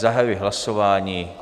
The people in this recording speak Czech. Zahajuji hlasování.